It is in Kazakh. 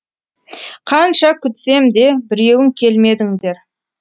қанша күтсем де біреуің келмедіңдер